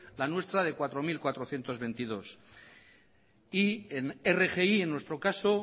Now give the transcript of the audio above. la nuestra de cuatro mil cuatrocientos veintidós y en rgi en nuestro caso